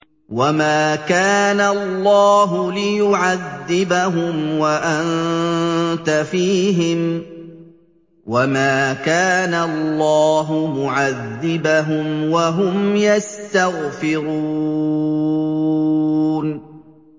وَمَا كَانَ اللَّهُ لِيُعَذِّبَهُمْ وَأَنتَ فِيهِمْ ۚ وَمَا كَانَ اللَّهُ مُعَذِّبَهُمْ وَهُمْ يَسْتَغْفِرُونَ